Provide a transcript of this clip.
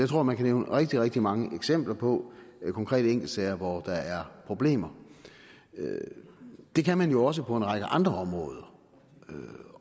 tror man kan nævne rigtig rigtig mange eksempler på konkrete enkeltsager hvor der er problemer det kan man jo også på en række andre områder